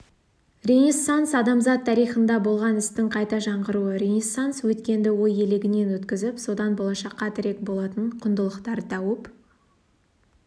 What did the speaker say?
ренессанс адамзат тарихында болған істің қайта жаңғыруы ренессанс өткенді ой елегінен өткізіп содан болашаққа тірек болатын құндылықтар тауып